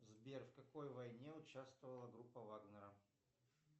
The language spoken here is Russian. сбер в какой войне участвовала группа вагнера